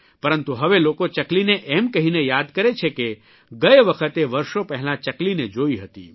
પરંતુ હવે લોકો ચકલીને એમ કહીને યાદ કરે છે કે ગયે વખતે વર્ષો પહેલાં ચકલીને જોઇ હતી